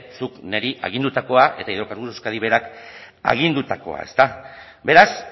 zuk neri agindutakoa eta hidrocarburos de euskadik berak agindutakoa ezta beraz